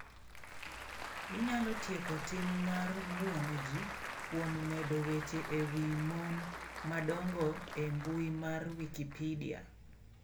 Inyalo tieko tim mar buono ji kuom medo weche e wi mon madongo e mbui mar wikipedia.